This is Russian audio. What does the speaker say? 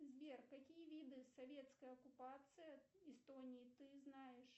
сбер какие виды советской оккупации эстонии ты знаешь